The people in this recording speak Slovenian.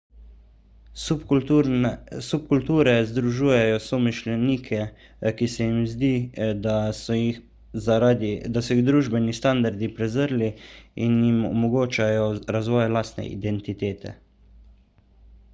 subkulture združujejo somišljenike ki se jim zdi da so jih družbeni standardi prezrli in jim omogočajo razvoj lastne identitete